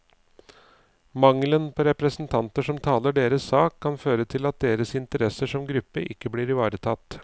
Mangelen på representanter som taler deres sak, kan føre til at deres interesser som gruppe ikke blir ivaretatt.